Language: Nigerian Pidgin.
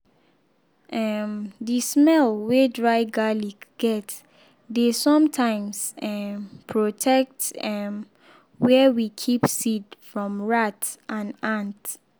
um the smell wey dry garlic get dey sometimes um protect um where we keep seed from rat and ant.